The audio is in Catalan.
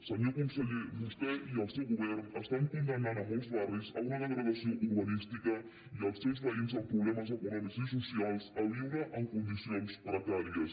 senyor conseller vostè i el seu govern condemnen molts barris a una degradació urbanística i als seus veïns amb problemes econòmics i socials a viure en condicions precàries